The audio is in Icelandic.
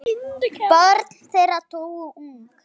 Börn þeirra dóu ung.